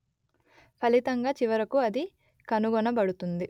ఫలితంగా చివరకు అది కనుగొనబడుతుంది